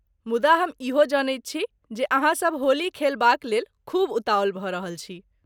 मुदा ,हम इहो जनैत छी जे अहाँसब होली खेलबाक लेल खूब उताहुल भऽ रहल छी।